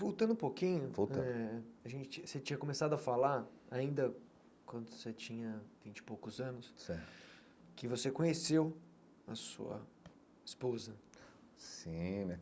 Voltando um pouquinho, voltando eh a gente você tinha começado a falar, ainda quando você tinha vinte e poucos anos certo, que você conheceu a sua esposa sim né.